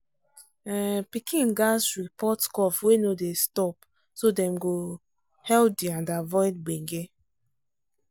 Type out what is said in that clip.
um pikin gats report cough wey no dey stop so dem go healthy and avoid gbege.